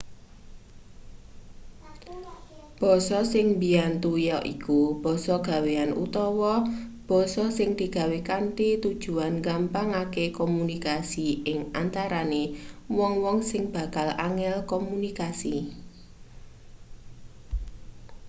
basa sing mbiyantu yaiku basa gawean utawa basa sing digawe kanthi tujuan nggampangake komunikasi ing antarane wong-wong sing bakal angel komunikasi